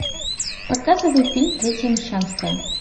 показывай фильм третья мещанская